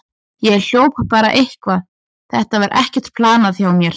Ég hljóp bara eitthvað, þetta var ekkert planað hjá mér.